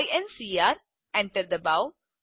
enter ડબાઓ